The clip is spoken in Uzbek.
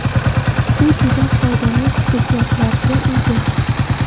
U juda foydali xususiyatlarga ega.